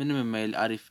ምንም የማይል አሪፍ